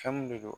Fɛn mun de don